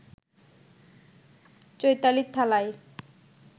চৈতালির থালায়